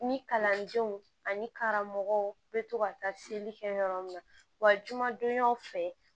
Ni kalandenw ani karamɔgɔw bɛ to ka taa seli kɛ yɔrɔ min na wa jumadonyaw fɛ